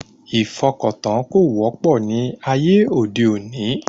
Ìfọkàntán kò wọ́pọ̀ ní ayé òde òní